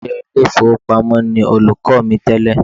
Òṣìṣẹ́ ilé ìfowópamọ́ ni olùkọ́ mi tẹ́lẹ̀